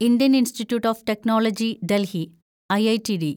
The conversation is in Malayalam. Indian Institute of Technology Delhi (IITD )